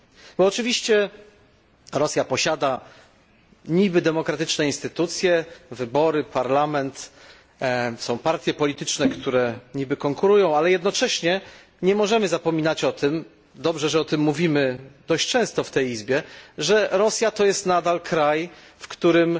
Bo oczywiście Rosja posiada niby demokratyczne instytucje, wybory, parlament, są partie polityczne, które niby konkurują ze sobą, ale jednocześnie nie możemy zapominać o tym i dobrze, że o tym mówimy dość często w tej Izbie że Rosja to nadal kraj, w którym